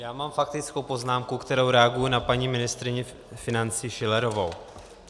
Já mám faktickou poznámku, kterou reaguji na paní ministryni financí Schillerovou.